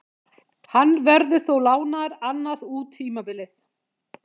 Hann verður þó lánaður annað út tímabilið.